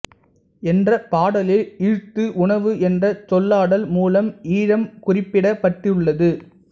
என்ற பாடலில் ஈழத்து உணவு என்ற சொல்லாடல் மூலம் ஈழம் குறிப்பிடப்பட்டுள்ளது